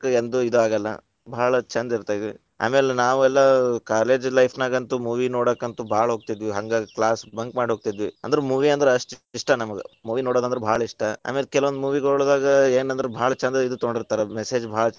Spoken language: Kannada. ಎಂದು ಇದಾಗಲ್ಲಾ, ಭಾಳ ಛಂದ ಇರ್ತೇತಿ, ಆಮೇಲ್‌ ನಾವೆಲ್ಲಾ ಅ college life ನ್ಯಾಗಂತು movie ನೋಡಾಕಂತು, ಭಾಳ ಹೋಗ್ತಿದ್ವಿ, ಹಂಗ್‌ class bunk ಮಾಡಿ ಹೋಗ್ತೀದ್ವಿ, ಅಂದ್ರ movie ಅಂದ್ರ ಅಷ್ಟ್ ಇಷ್ಟಾ, ನಮಗ movie ನೋಡೋದಂದ್ರ ಭಾಳ ಇಷ್ಟ ಆಮೇಲೆ ಕೆಲವೊಂದ್ movie ಗೊಳದೊಳಗ ಏನ್‌ ಅಂದ್ರ ಭಾಳ ಛೆಂದ್‌ ಇದ್ ತಗೊಂಡಿರ್ತಾ ರ message ಭಾಳ.